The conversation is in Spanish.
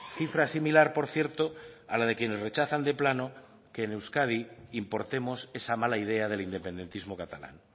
cifra similar por cierto a la de quienes rechazan de plano que en euskadi importemos esa mala idea del independentismo catalán